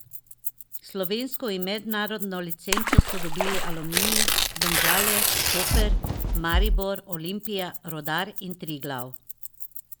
Slovensko in mednarodno licenco so dobili Aluminij, Domžale, Koper, Maribor, Olimpija, Rudar in Triglav.